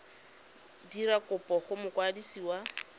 dira kopo go mokwadisi wa